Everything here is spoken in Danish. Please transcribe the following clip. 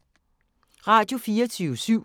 Radio24syv